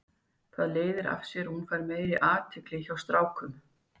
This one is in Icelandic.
Það leiðir af sér að hún fær meiri athygli hjá strákum.